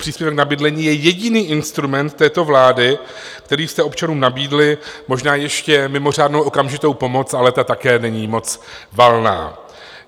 Příspěvek na bydlení je jediný instrument této vlády, který jste občanům nabídli, možná ještě mimořádnou okamžitou pomoc, ale ta také není moc valná.